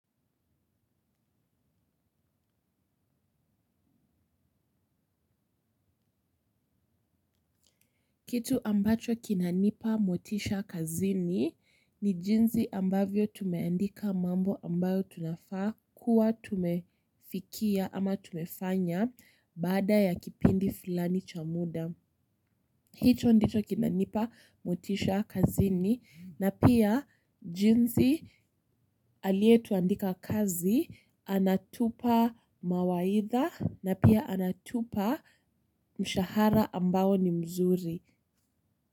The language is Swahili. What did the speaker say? Kitu ambacho kinanipa motisha kazini ni jinsi ambavyo tumeandika mambo ambayo tunafaa kuwa tumefikia ama tumefanya baada ya kipindi fulani cha muda. Hiki ndicho kinanipa motisha kazini na pia jinsi aliyetuandika kazi anatupa mawaidha na pia anatupa mshahara ambao ni mzuri.